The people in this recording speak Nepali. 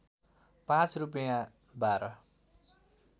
पाँच रूपैयाँ बाह्र